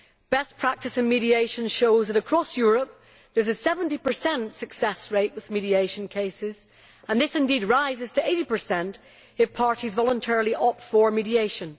best practice in mediation shows that across Europe there is a 70 success rate with mediation cases, and indeed this rises to 80 if parties voluntarily opt for mediation.